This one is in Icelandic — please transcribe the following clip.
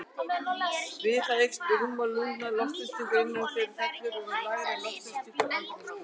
Við það eykst rúmmál lungna, loftþrýstingur innan þeirra fellur og verður lægri en loftþrýstingur andrúmsloftsins.